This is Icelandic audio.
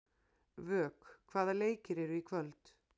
Vök, hvaða leikir eru í kvöld?